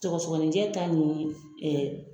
Sɔgɔsɔgɔninjɛ ta ni .